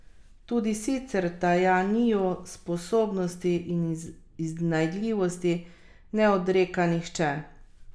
Tudi sicer Tajaniju sposobnosti in iznajdljivosti ne odreka nihče.